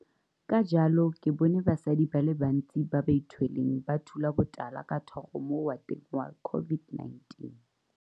Ka jalo ke bone basadi ba le bantsi ba ba ithweleng ba thula botala ka thogo mo wateng ya COVID19.